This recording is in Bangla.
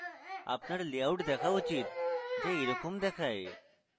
আপনার layout দেখা উচিত যা এইরকম দেখায়